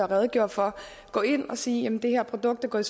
redegjorde for gå ind og sige at det her produkt er gået